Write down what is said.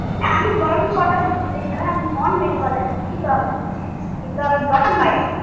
না আমি bron বিদেশে না আমি bron বেঙ্গল এ দুঃখিত আমি কিন্তু আমি বাইরে